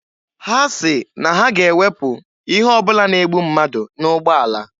Ha sị na ha ga-ewepụ ihe ọ bụla na-egbu mmadụ n'ụgbọala.